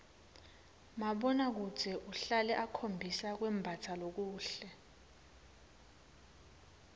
mabonakudze uhlale ukhombisa kwembatsa lokuhle